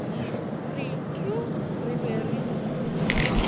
re tuu re be re